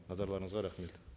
назарларыңызға рахмет